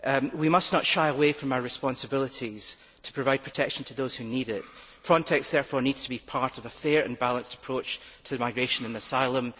We must not shy away from our responsibilities to provide protection to those who need it. Frontex therefore needs to be part of a fair and balanced approach to migration and asylum.